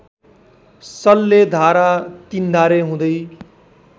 सल्लेधारा तिन्धारे हुँदै